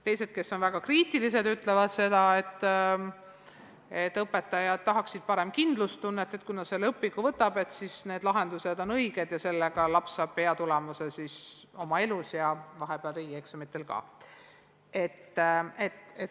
Teised, kes on väga kriitilised, ütlevad seda, et õpetajad tahaksid parem kindlustunnet, et kui ta selle õpiku võtab, siis sealsed lahendused on õiged ja sellega saab laps hea tulemuse nii oma elus kui ka vahepeal riigieksamitel.